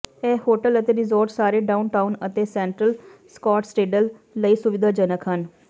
ਇਹ ਹੋਟਲ ਅਤੇ ਰਿਜ਼ੌਰਟ ਸਾਰੇ ਡਾਊਨਟਾਊਨ ਅਤੇ ਸੈਂਟਰਲ ਸਕੌਟਟਸਡੇਲ ਲਈ ਸੁਵਿਧਾਜਨਕ ਹਨ